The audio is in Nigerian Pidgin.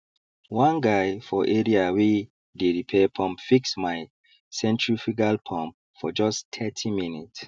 one guy for areawey dey repair pumpfix my centrifugal pump for just thirty minutes